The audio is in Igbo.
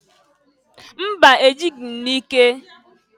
Mba! E jịghị m n'ike.